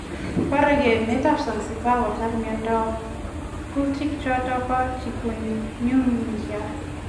boreke emet ab Zanzibar kotar miandop kutik choton bo Chikungunya